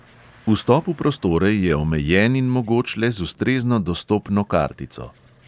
Vstop v prostore je omejen in mogoč le z ustrezno dostopno kartico.